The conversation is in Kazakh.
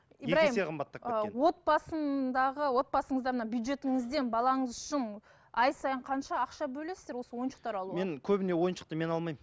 ибрайым екі есе қымбаттап отбасындағы отбасыңызда мына бюджетіңізден балаңыз үшін ай сайын қанша ақша бөлесіздер осы ойыншықтар алуға мен көбіне ойыншықты мен алмаймын